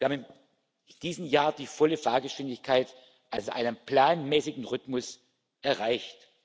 Wir haben in diesem Jahr die volle Fahrgeschwindigkeit, also einen planmäßigen Rhythmus, erreicht.